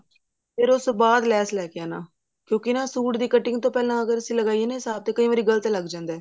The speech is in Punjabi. ਫ਼ੇਰ ਉਸਤੋਂ ਬਾਅਦ ਲੈਸ ਲੈਕੇ ਆਉਣਾ ਕਿਉਂਕਿ ਸੂਟ ਦੀ cutting ਤੋਂ ਪਹਿਲਾਂ ਅਗਰ ਅਸੀਂ ਲਗਾਈਏ ਨਾ ਕਈ ਵਾਰੀ ਗਲਤ ਲੱਗ ਜਾਂਦਾ